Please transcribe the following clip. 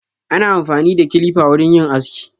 Ana amfani da kilifa wurin yin aski.